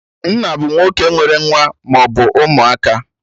Nna bụ nwoke nwere nwa maọbụ ụmụaka